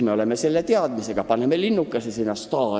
Me võtame selle info teadmiseks ja paneme STAR-i linnukese kirja.